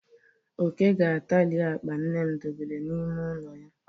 Oke ga-atari akpa nne m dobere n'ime ụlọ ya.